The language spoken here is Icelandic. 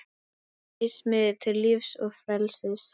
Reis mig við til lífs og frelsis!